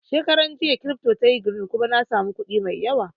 Shekaran jiya kiripto tayi girin kuma na samu kuɗi mai yawa